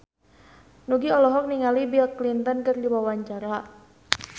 Nugie olohok ningali Bill Clinton keur diwawancara